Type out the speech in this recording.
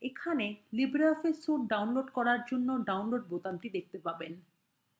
এখানে libreoffice suite download করার জন্য download বোতামটি দেখতে পারেন